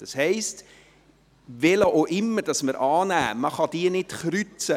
Das heisst, welchen auch immer wir annehmen, man kann sie nicht kreuzen.